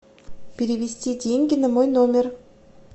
перевести деньги на мой номер